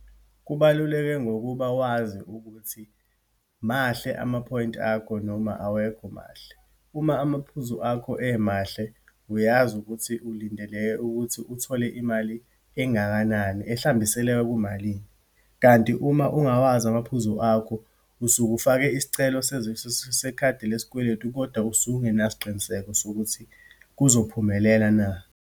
Kubaluleke, ngokuba wazi ukuthi mahle amaphoyinti akho, noma awekho mahle. Uma amaphuzu akho emahle, uyazi ukuthi ulindeleke ukuthi uthole imali engakanani, ehlambiseleka kumalini. Kanti uma ungawazi amaphuzu akho, usuke ufake isicelo sekhadi lesikweletu, kodwa usukungena siqiniseko sokuthi kuzophumelela na.